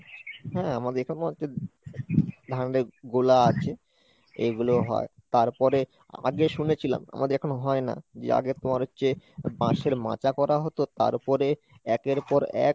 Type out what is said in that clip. হ্যাঁ, আমাদের এখানেও একটা ধানের গোলা আছে এগুলোও হয়, তারপরে আগে শুনেছিলাম আমাদের এখনো হয় না, যে আগে তোমার হচ্ছে বাঁশের মাচা করা হতো, তারপরে একের পর এক